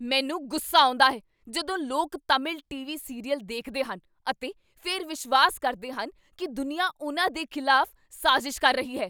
ਮੈਨੂੰ ਗੁੱਸਾ ਆਉਂਦਾ ਹੈ ਜਦੋਂ ਲੋਕ ਤਾਮਿਲ ਟੀਵੀ ਸੀਰੀਅਲ ਦੇਖਦੇ ਹਨ ਅਤੇ ਫਿਰ ਵਿਸ਼ਵਾਸ ਕਰਦੇ ਹਨ ਕੀ ਦੁਨੀਆ ਉਨ੍ਹਾਂ ਦੇ ਖਿਲਾਫ਼ ਸਾਜ਼ਿਸ਼ ਕਰ ਰਹੀ ਹੈ।